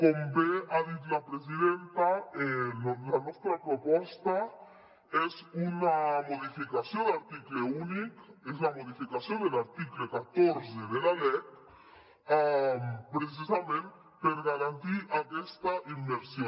com bé ha dit la presidenta la nostra proposta és una modificació d’article únic és la modificació de l’article catorze de la lec precisament per garantir aquesta immersió